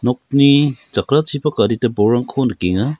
nokni jakrachipak adita bolrangko nikenga.